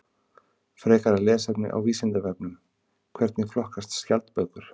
Frekara lesefni á Vísindavefnum: Hvernig flokkast skjaldbökur?